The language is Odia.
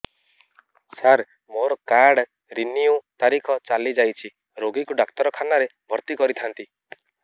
ସାର ମୋର କାର୍ଡ ରିନିଉ ତାରିଖ ଚାଲି ଯାଇଛି ରୋଗୀକୁ ଡାକ୍ତରଖାନା ରେ ଭର୍ତି କରିଥାନ୍ତି